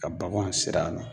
Ka baganw siri a